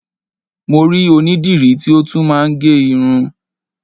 Mo rí onídìrí tí ó tún máa ń gẹ irun